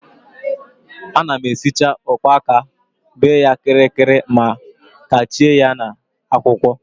A na-esicha ụkpaka, bee ya kịrịkịrịma kechie ya na akwụkwọ